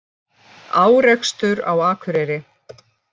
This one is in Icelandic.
Árekstur á Akureyri